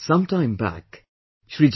Some time back, Shri Mr